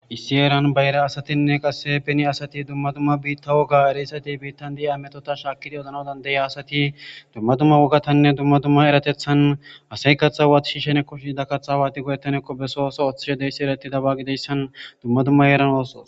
Issi eran bayra asatinne qasse peni asati dumma dumma biitta woga ereysati biittan di7i ametota shaakidi odnadandeya asati dumma dumma wogatanne dumma dumma eratethan asay kaththa hwaati shiishenekko shiida katha waati godettanekko besooso oththishe deyssi erati dabagideyssan dumma dumma eran ooso